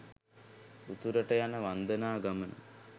උතුරට යන වන්දනා ගමන